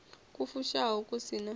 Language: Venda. ku fushaho ku si na